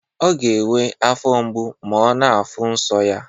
Ọ ga enwe afo mgbu ma ọ na afuụ nso ya.